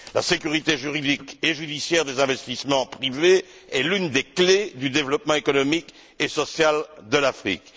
La sécurité juridique et judiciaire des investissements privés est l'une des clés du développement économique et social de l'Afrique.